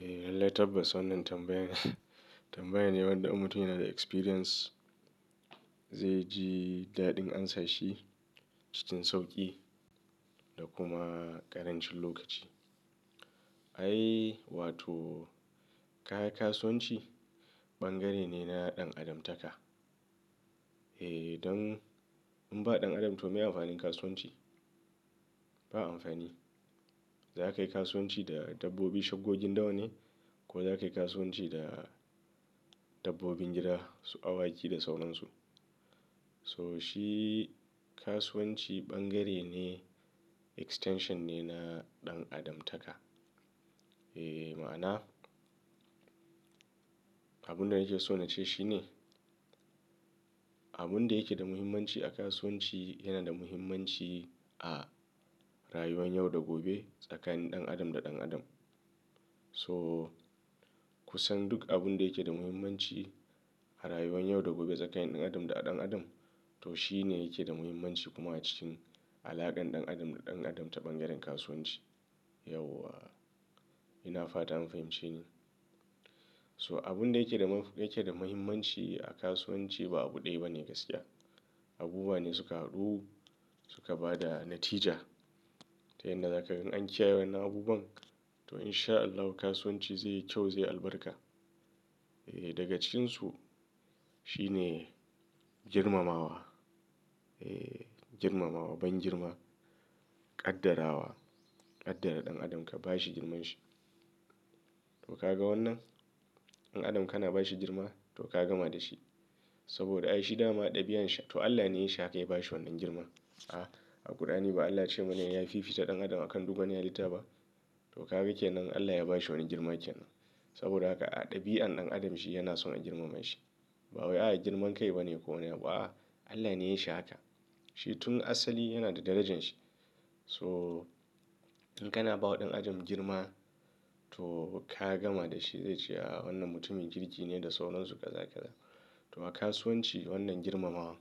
Eh, lallai tabbas wannan tambayan. Tambaya ne wanda in mutum yana da experience zai ji daɗin amsa shi cikin sauƙi da kuma ƙarancin lokaci. Ai, wato kaga kasuwanci bangare ne na ɗan adamtaka. Eh, don in ba ɗan adam to me amfanin kasuwanci? Ba amfani. Za ka yi kasuwanci da dabbobi shaggogin dawa ne, ko za ka yi kasuwanci da dabbobin gida, su awaki da sauransu. To shi kasuwanci ɓangare ne, extension ne na ɗan adamtaka. Eh, ma'ana abin da nake so na ce shi ne abin da yake da muhimmanci a kasuwanci yana da muhimmanci a rayuwar yau da gobe tsakanin ɗan adam da ɗan adam. So ku san duk abin da yake da muhimmanci a rayuwar yau da gobe tsakanin ɗan adam da ɗan adam, to shi ne yake da muhimmanci kuma acikin alaƙan ɗan adam da ɗan adam ta b'ɓangaren kasuwanci. Yauwa ina fata an fahimce ni. So abin da yake da, yake da muhimmanci a kasuwanci ba abu ɗaya bane gaskiya. Abubuwa ne suka haɗu suka ba da natija. Ta yanda za ka ga in an kiyaye wa'yannan abubuwan to in sha Allahu kasuwanci zai yi kyau, zai yi albarka. Eh, daga cikinsu shi ne girmamawa. Eh, girmamawa, ban girma, ƙaddarawa. Ƙaddara ɗan adam ka bashi girmanshi. To ka ga wannan? Ɗan adam kana bashi girma to ka gama da shi. Saboda ai shi dama ɗabi'an shi to Allah ne yayi shi haka ya bashi wannan girman. A, a kur'ani ba Allah ce mana ya fi fita ɗan adam akan duk wani halitta ba. To ka ga ke nan Allah ya bashi wani girma ke nan. Saboda haka a ɗabi'an ɗan adam shi yana son a girmama shi. Ba wai a girman kai bane ko wani abu a, a Allah ne ya yishi haka. Shi tun asali yana da darajanshi. So in kana ba wa ɗan adam girma to ka gama da shi zai ce a wannan mutumin kirki ne da sauransu kaza kaza. To ma kasuwanci wannan girmamawa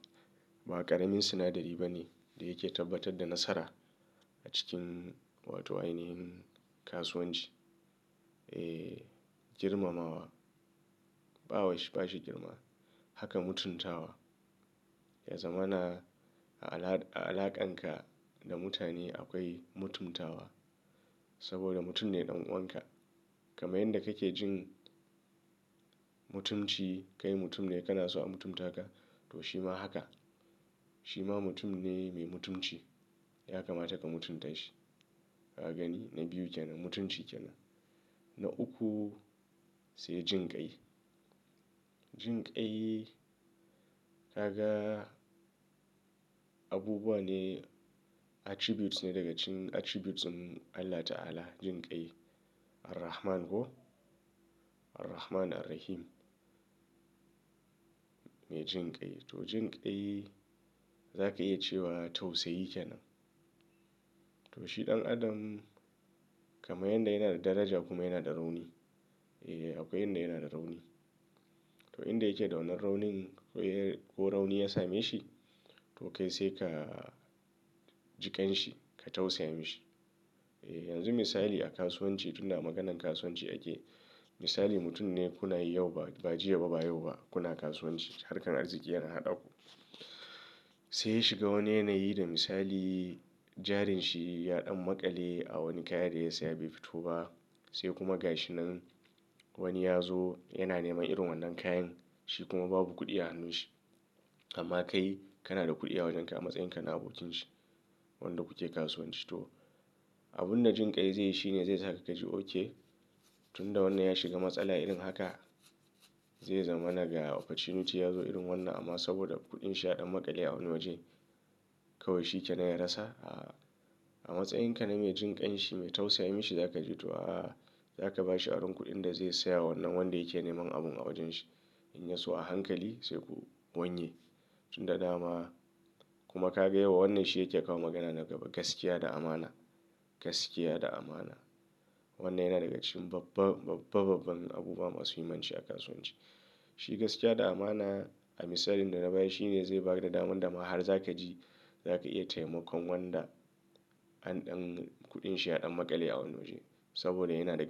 ba ƙaramin sinadari bane da yake tabbatar da nasara a cikin wato ainihin kasuwanci. Eh, girmamawa, bawa shi, ba shi girma. Haka mutuntawa, ya zama na a ala, a alaƙanka da mutane akwai mutuntawa. Saboda mutum ne ɗan uwanka. Kaman yanda kake jin mutunci kai mutum ne kana so a mutunta ka to shi ma haka. Shi ma mutum ne mai mutunci ya kamata ka mutunta shi. Ka gani? Na biyu ke nan mutunci ke nan. Na uku sai jinƙai. Jinƙai, ka ga abubuwa ne attributes ne daga cikin attributes ɗin Allah ta'ala jinƙai Ar-rahman ko? Ar-rahman Ar-rahim. Mai jinƙai. To jinƙai za ka iya cewa tausayi ke nan. To shi ɗan adam kaman yanda yana da daraja kuma yana da rauni. Eh, akwai yanda yana da rauni. To inda yake da wannan raunin ko, ko rauni ya same shi to kai sai ka jiƙan shi ka tausaya mishi. Eh, yanzu misali a kasuwanci tun da maganan kasuwanci ake. Misali mutum ne kuna yi yau ba, ba jiya ba ba yau ba kuna kasuwanci. Harkan arziki yana haɗa ku. Sai ya shiga wani yanayi da misali jarin shi ya ɗan maƙale a wani kaya da ya saya bai fito ba. Sai kuma gashi nan wani ya zo yana neman irin wannan kayan. Shi kuma babu kuɗi a hannun shi. Amma kai kana da kuɗi a wajen ka a matsayin kana abokin shi. Wanda kuke kasuwanci. To abin da jinƙai zai yi shi ne zai saka ka ji oke. Tun da wannan ya shiga matsala irin haka zai zama naga. Opportunity ya zo irin wannan amma saboda kuɗin shi ya ɗan maƙale a wani waje kawai shi ke nan ya rasa, a, a. A matsayin ka na mai jinƙan shi mai tausayi shi za ka ce to a za ka ba shi aron kuɗin da zai saya wa wannan wanda yake neman abun a wajen shi. In ya so a hankali sai ku wanye. Tun da dama kuma ka ga yauwa wannan shi yake kawo magana na gaba. Gaskiya da amana, gaskiya da amana. Wannan yana daga cikin babba, babba babban abubuwa masu muhimmanci a kasuwanci. Shi gaskiya da amana a misalin da na bayar shi ne zai ba da damar dama har za ka ji za ka iya taimakon wanda in ɗan kuɗin shi ya ɗan maƙale a wani waje. Saboda yana daga.